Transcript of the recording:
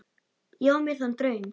Ég á mér þann draum.